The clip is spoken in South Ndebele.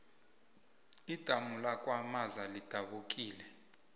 idamu lakwamaza lidabukile